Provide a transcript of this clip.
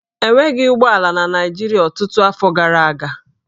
E nweghị ụgbọ ala na Naịjirịa ọtụtụ afọ gara aga